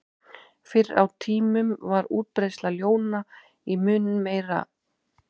Fyrr á tímum var útbreiðsla ljóna mun meiri.